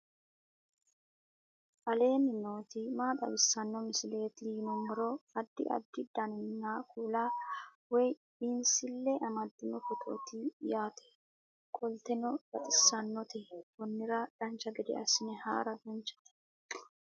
aleenni nooti maa xawisanno misileeti yinummoro addi addi dananna kuula woy biinsille amaddino footooti yaate qoltenno baxissannote konnira dancha gede assine haara danchate